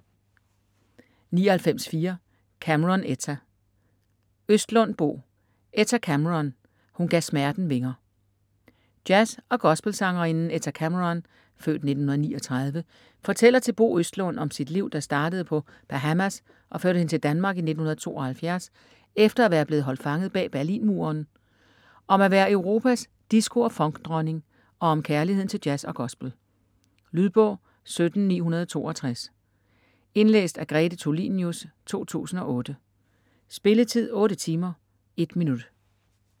99.4 Cameron, Etta Østlund, Bo: Etta Cameron: hun gav smerten vinger Jazz- og gospelsangerinden Etta Cameron (f. 1939) fortæller til Bo Østlund om sit liv, der startede på Bahamas og førte hende til Danmark i 1972 efter at være blevet holdt fanget bag Berlinmuren, om at være Europas disco- og funkdronning og om kærligheden til jazz og gospel. Lydbog 17962 Indlæst af Grete Tulinius, 2008. Spilletid: 8 timer, 1 minut.